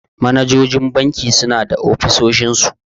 Manajojin banki suna da ofisoshin su.